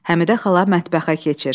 Həmidə xala mətbəxə keçir.